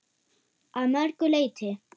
Að mörgu leyti.